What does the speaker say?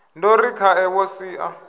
ndo ri khae wo sia